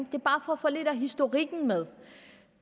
bare for at få lidt af historikken med